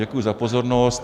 Děkuji za pozornost.